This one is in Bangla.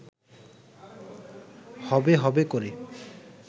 হবে হবে করে